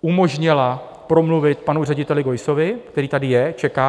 umožnila promluvit panu řediteli Geussovi, který tady je, čeká.